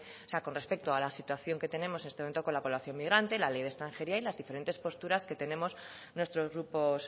o sea con respecto a la situación que tenemos en este momento con la población migrante la ley de extranjería y las diferentes posturas que tenemos nuestros grupos